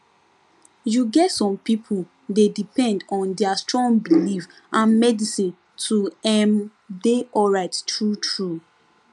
you get some people dey depend on their strong belief and medicine to ehm dey alright truetrue